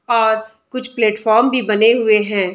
और कुछ प्लेटफर्म भी बने हुए हैं।